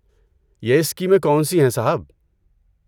یہ اسکیمیں کون سی ہیں، صاحب؟